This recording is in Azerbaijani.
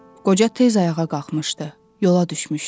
Qoca tez ayağa qalxmışdı, yola düşmüşdü.